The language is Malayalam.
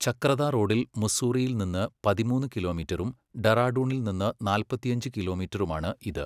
ചക്രത റോഡിൽ മുസ്സൂറിയിൽ നിന്ന് പതിമൂന്ന് കിലോമീറ്ററും ഡെറാഡൂണിൽ നിന്ന് നാൽപ്പത്തിയഞ്ച് കിലോമീറ്ററുമാണ് ഇത്.